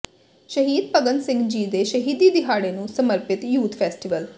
ਸ਼ਹੀਦ ਭਗਤ ਸਿੰਘ ਜੀ ਦੇ ਸ਼ਹੀਦੀ ਦਿਹਾੜੇ ਨੂੰ ਸਮਰਪਿਤ ਯੂਥ ਫ਼ੈਸਟੀਵਲ